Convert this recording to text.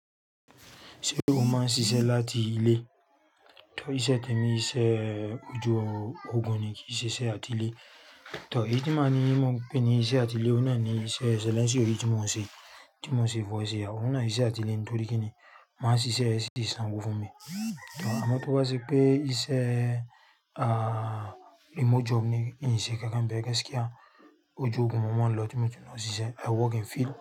Ṣé o máa ń ṣiṣẹ́ láti ilé? Tọ́ iṣẹ́ tèmi iṣẹ́ ojú ogun ni kí iṣẹ́ àti ilé. Tọ́ èyí tí máa ní mo pè ní iṣẹ́ àti ilé ó náani iṣẹ́ ṣẹlẹnsío yii tí mo ń ṣe, tí mo ń ṣe voice AI. Óun náà ni iṣẹ́ àti ilé nítorí kí ni máa ṣiṣẹ́ distant fún mi. Tọ́ àmọ́ tó bá ṣe pé iṣẹ́ ah remote job ni ììn ṣe nkankan bẹ́ẹ̀, gaskiya oju ogun mó máa n lọ tí mo ti mọ̀ ṣiṣẹ́ I work in field.